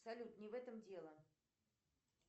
салют не в этом дело